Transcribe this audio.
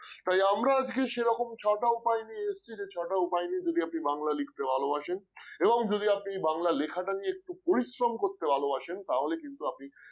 তাই আমরা আজকে সেরকম ছটা উপায় নিয়ে এসেছি যে ছটা উপায় নিয়ে যদি আপনি বাংলা লিখতে ভালোবাসেন এবং যদি আপনি বাংলা লেখাটা নিয়ে একটু পরিশ্রম করতে ভালোবাসেন তাহলে কিন্তু আপনি